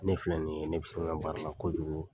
Ne filɛ nin ye, ne bɛ se n ka baara kojugu,